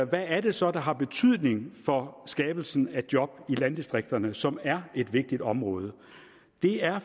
hvad er det så der har betydning for skabelsen af job i landdistrikterne som er et vigtigt område det er